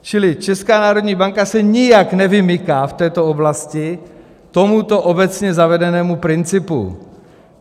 Čili Česká národní banka se nijak nevymyká v této oblasti tomuto obecně zavedenému principu.